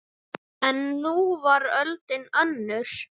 En nú var öldin önnur.